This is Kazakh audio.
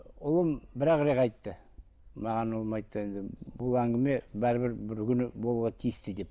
ұлым бір ақ рет айтты маған ұлым айтты енді бұл әңгіме бәрібір бір күні болуға тиісті деп